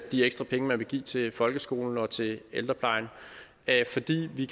de ekstra penge man vil give til folkeskolen og til ældreplejen fordi vi